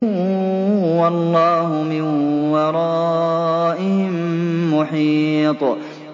وَاللَّهُ مِن وَرَائِهِم مُّحِيطٌ